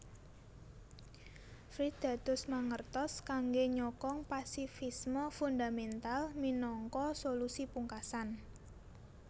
Fried dados mangertos kangge nyokong pasifisme fundamental minangka solusi pungkasan